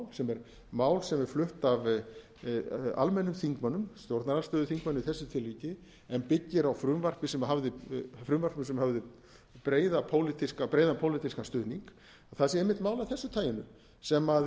sem er mál sem er flutt af almennum þingmönnum stjórnarandstöðuþingmanni í þessu tilviki en byggir á frumvörpum sem höfðu breiðan pólitískan stuðning það sé einmitt mál af þessu taginu sem